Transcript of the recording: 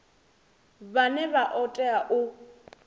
vhane vha o tea u